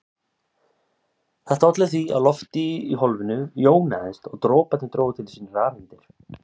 Þetta olli því að loftið í hólfinu jónaðist og droparnir drógu til sín rafeindir.